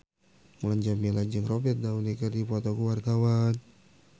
Mulan Jameela jeung Robert Downey keur dipoto ku wartawan